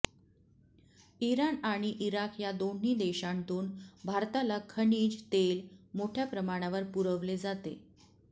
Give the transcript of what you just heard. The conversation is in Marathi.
इराण आणि इराक या दोन्ही देशांतून भारताला खनिज तेल मोठय़ा प्रमाणावर पुरवले जाते